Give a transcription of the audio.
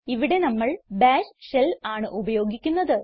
ഇവിടെ നമ്മൾ bash shell ആണ് ഉപയോഗിക്കുന്നത്